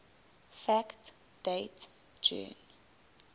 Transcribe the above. fact date june